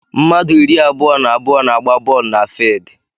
Mmadụ iri abụọ na abụọ na agba boolu na fidi